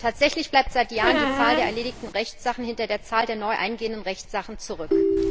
Tatsächlich bleibt seit Jahren die Zahl der erledigten Rechtssachen hinter der Zahl der neu eingehenden Rechtssachen zurück.